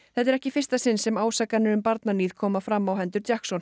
þetta er ekki í fyrsta sinn sem ásakanir um barnaníð koma fram á hendur